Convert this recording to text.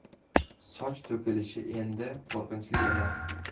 Soch to‘kilishi endi qo‘rqinchli emas!.